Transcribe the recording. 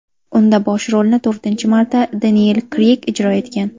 Unda bosh rolni to‘rtinchi marta Deniyel Kreyg ijro etgan.